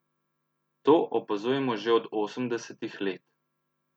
To opazujemo že od osemdesetih let.